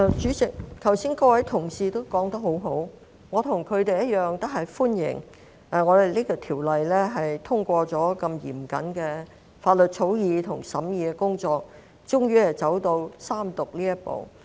主席，剛才各位同事也說得很好，我與他們同樣歡迎《2021年完善選舉制度條例草案》通過嚴謹的法律草擬及審議工作後終於走到三讀這一步。